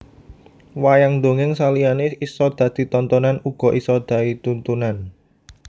Wayang dongeng saliyane isa dadi tontonan uga isa dai tuntunan